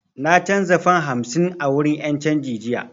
Na canza fam hamsin a wurin 'yan canji jiya